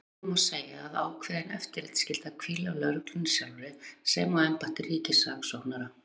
Þess vegna má segja að ákveðin eftirlitsskylda hvíli á lögreglunni sjálfri sem og embætti ríkissaksóknara.